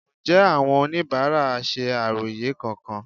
Ǹjẹ́ àwọn oníbàárà ṣe àròyé kankan?